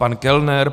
Pan Kellner?